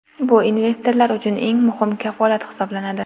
Bu investorlar uchun eng muhim kafolat hisoblanadi.